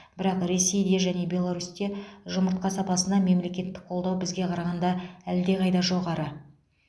бірақ ресейде және беларусьте жұмыртқа саласына мемлекеттік қолдау бізге қарағанда әлдеқайда жоғары